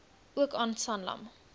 ook aan sanlam